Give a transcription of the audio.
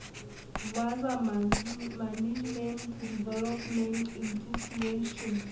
wa sa management development intitution